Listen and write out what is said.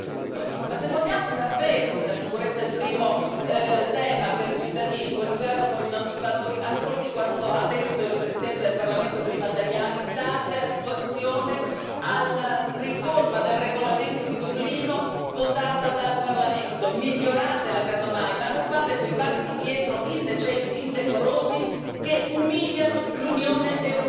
La sicurezza è il primo tema per i cittadini, ma se vogliamo davvero coniugarlo con i nostri valori ascolti quanto ha detto prima il Presidente del Parlamento Tajani date attuazione alla riforma del regolamento di Dublino votata dal Parlamento, miglioratela casomai, ma non fate quei passi indietro indecenti, indecorosi, che umiliano l'Unione europea e tutti i suoi cittadini.